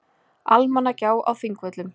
Almannagjá á Þingvöllum.